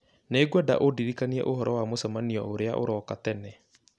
nĩ ngwenda ũndirikanie ũhoro wa mũcemanio ũrĩa ũroka tene